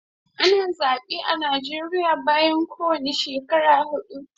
Ana zabe a Nijeria bayan kowane shekara hudu